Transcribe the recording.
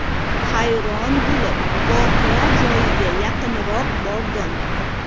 Hayron bo‘lib, voqea joyiga yaqinroq bordim.